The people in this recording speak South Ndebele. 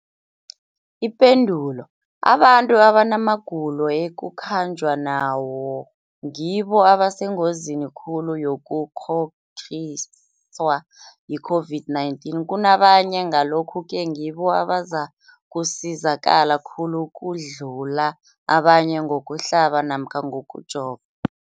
Ipendulo, abantu abanamagulo ekukhanjwa nawo ngibo abasengozini khulu yokukghokghiswa yi-COVID-19 kunabanye, Ngalokhu-ke ngibo abazakusizakala khulu ukudlula abanye ngokuhlaba namkha ngokujova.